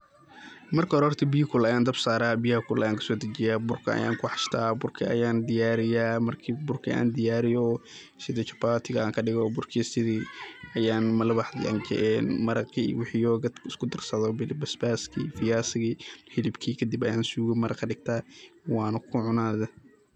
marka hore biya gulul ayan dabka saara. biyaha ayaan kaso dejiyaa, burka ayan ku xashtaa, burka ayaan diyaariya, marki burkii an diyaariyo, sidii jabatigi anka dhigo, burkii sidii ayaan malalax dhankii een maraqi iyo wixii biyo oo dadki isku darsado basbaski, fiyaasigi, hilibki kadib an suga maraq kadhigtaa wana ku cunaa